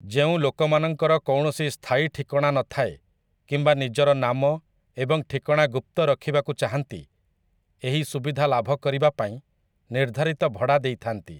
ଯେଉଁଲୋକମାନଙ୍କର କୌଣସି ସ୍ଥାୟୀଠିକଣା ନଥାଏ କିମ୍ବା ନିଜର ନାମ ଏବଂ ଠିକଣା ଗୁପ୍ତରଖିବାକୁ ଚାହାନ୍ତି ଏହି ସୁବିଧା ଲାଭ କରିବା ପାଇଁ ନିର୍ଦ୍ଧାରିତ ଭଡ଼ା ଦେଇଥାନ୍ତି ।